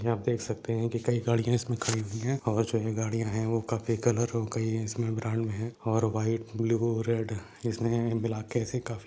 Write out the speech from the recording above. आप देख सकते है कि कई गाड़िया इसमे खड़ी हुई है और जो है गाड़िया है वो काफी कलर हो गई इसमें ब्रांड मे है और व्हाइट ब्लू रेड इसमे ब्लैक ऐसी काफी --